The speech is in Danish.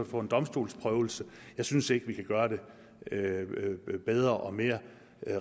få en domstolsprøvelse jeg synes ikke vi kan gøre det bedre og mere